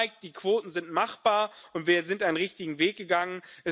Das zeigt Die Quoten sind machbar, und wir sind einen richtigen Weg gegangen.